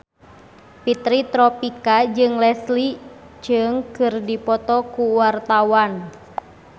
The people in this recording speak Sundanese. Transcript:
Fitri Tropika jeung Leslie Cheung keur dipoto ku wartawan